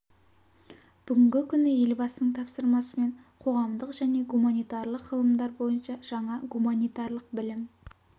бүгінгі күні елбасының тапсырмасымен қоғамдық және гуманитарлық ғылымдар бойынша жаңа гуманитарлық білім